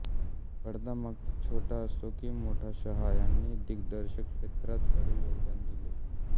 पडदा मग तो छोटा असो की मोठाशहा यांनी दिग्दर्शन क्षेत्रात भरीव योगदान दिले